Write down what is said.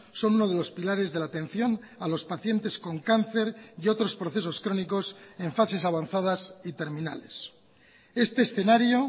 son uno de los pilares de la atención a los pacientes con cáncer y otros procesos crónicos en fases avanzadas y terminales este escenario